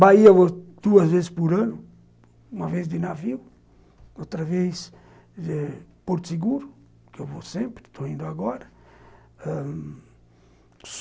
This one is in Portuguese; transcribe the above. Bahia eu vou duas vezes por ano, uma vez de navio, outra vez de Porto Seguro, que eu vou sempre, estou indo agora ãh...